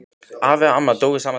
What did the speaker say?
Afi og amma dóu sama daginn.